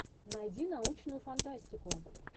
найди научную фантастику